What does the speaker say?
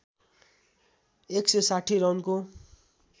१ सय ६० रनको